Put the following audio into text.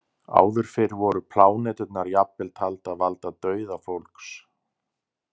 Áður fyrr voru pláneturnar jafnvel taldar valda dauða fólks.